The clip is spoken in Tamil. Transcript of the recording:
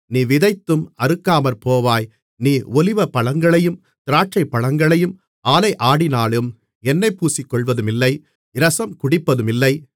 நீ விதைத்தும் அறுக்காமற்போவாய் நீ ஒலிவப்பழங்களையும் திராட்சைப்பழங்களையும் ஆலையாடினாலும் எண்ணெய் பூசிக்கொள்வதுமில்லை இரசம் குடிப்பதுமில்லை